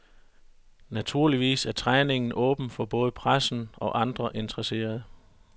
Naturligvis er træningen åben for både pressen og andre interesserede, .